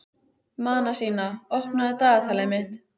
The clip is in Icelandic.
Manasína, opnaðu dagatalið mitt.